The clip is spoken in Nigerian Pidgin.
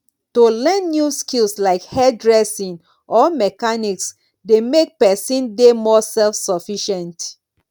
to learn new skills like hairdressing or mechanics dey make pesin dey more selfsufficient